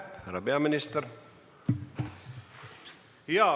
Härra peaminister!